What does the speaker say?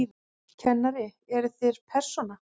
Kennari: Eruð þér persóna?